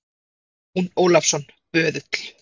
JÓN ÓLAFSSON, BÖÐULL